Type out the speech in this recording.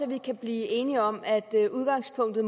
vi kan blive enige om at udgangspunktet